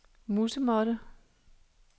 musemåtte